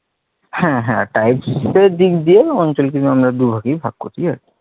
হ্যাঁ হ্যাঁ types এর দিক দিয়ে অঞ্চলকে আমরা দুইভাগে ভাগ